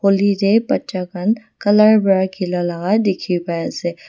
holi tey bacha khan colour pra khilia laga dikhi paiase--